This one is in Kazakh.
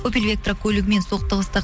опель вектра көлігімен соқтығысты